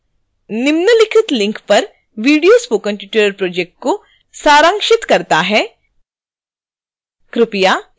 निम्नलिखित link पर video spoken tutorial project को सारांशित करता है